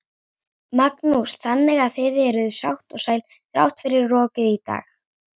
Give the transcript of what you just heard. Magnús: Þannig að þið eruð sátt og sæl þrátt fyrir rokið í dag?